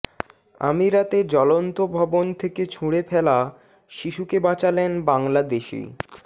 আমিরাতে জ্বলন্ত ভবন থেকে ছুঁড়ে ফেলা শিশুকে বাঁচালেন বাংলাদেশি